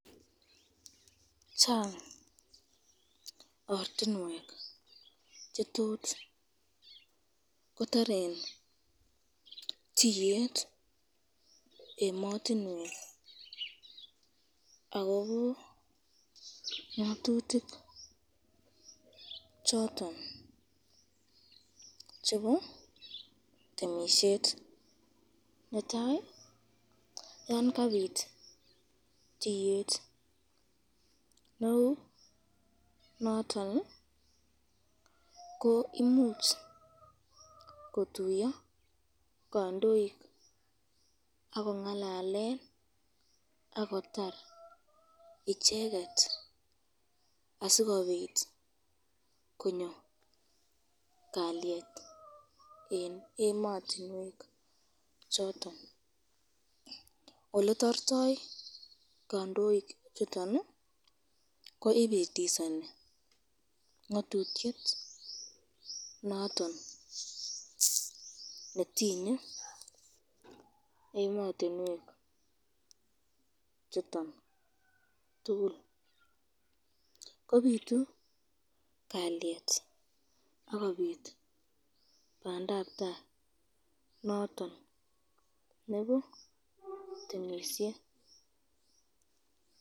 Chang ortinwek chetot kotaren titlyet ematinwek akobo ngatutik choton chebo temisyet, netai yo Kabir tiyet neu noton ko imuch kotuya kandoik akongalalen akotar icheket asikobit konyo kalyet eng ematinwek choton, oletortoi kandoik chuton ko ibitisani ngatutyet noton netinye imatinwek chuton, koitu kalyet akobit bandabtai noton nebo temisyet.